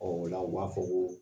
Ɔ o la u b'a fɔ ko